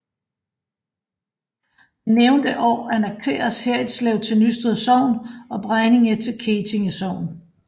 Men nævnte år annekteredes Herritslev til Nysted Sogn og Bregninge til Kettinge Sogn